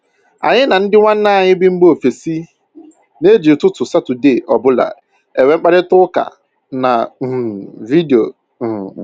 Anyị na ndị nwanne anyị bị mba bị mba ofesi na-eji ụtụtụ Satọde ọbụla enwe mkparịta ụka na um vidio um